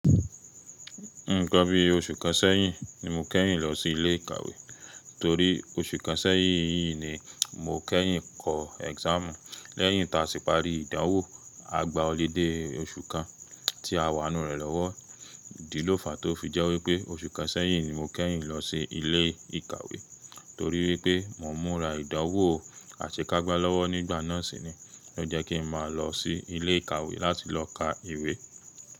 Nígbà bí oṣù kan sẹ́yìn ni mo kẹ́yìn lọ sí ilé ìkàwé torí oṣù kan sẹ́yìn yìí ni mo kẹ́yìn kọ exam lẹ́yìn tá a ti parí ìdánwò àgbá ọludé oṣù kan tí a wà nurẹ̀lọ́wọ́. Idi ló fàá tó fi jẹ́ wípé oṣù kan sẹ́yìn ni mo kẹ́yìn lọ sí ilé ìkàwé torí wípé mo múra ìdánwò àsekágbá lọ́wọ́ nígbà náà sì ni lọ jẹ́ kí n máa lọ sí ilé ìkàwé láti lọ ka ìwé.